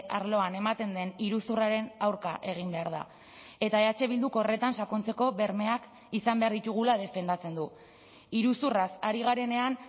arloan ematen den iruzurraren aurka egin behar da eta eh bilduk horretan sakontzeko bermeak izan behar ditugula defendatzen du iruzurraz ari garenean